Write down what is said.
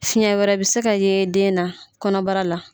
Fiyɛn wɛrɛ bɛ se ka ye den na kɔnɔbara la.